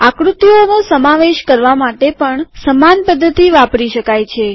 આક્રુતિઓનો સમાવેશ કરવા માટે પણ સમાન પદ્ધતિ વાપરી શકાય છે